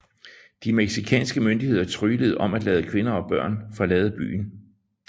De mexicanske myndigheder tryglede om at lade kvinder og børn forlade byen